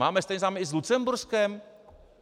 Máme stejné zájmy i s Lucemburskem?